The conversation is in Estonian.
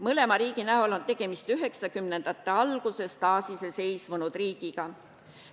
Mõlema riigi näol on tegemist 1990-ndate alguses taasiseseisvunud riigiga.